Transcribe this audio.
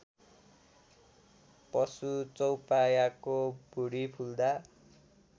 पशु चौपायाको भुडी फुल्दा